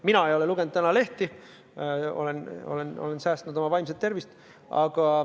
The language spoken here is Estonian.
Mina ei ole lugenud tänaseid lehti, olen säästnud oma vaimset tervist.